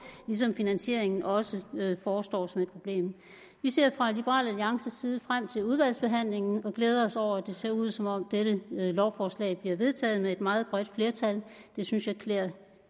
ligesom finansieringen også forestår som et problem vi ser fra liberal alliances side frem til udvalgsbehandlingen og glæder os over at det ser ud som om dette lovforslag bliver vedtaget med et meget bredt flertal det synes jeg klæder